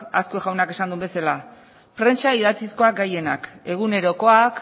azkue jaunak esan duen bezala prentsa idatzizkoak gehienak egunerokoak